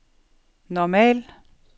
normal